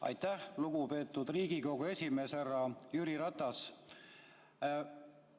Aitäh, lugupeetud Riigikogu esimees härra Jüri Ratas!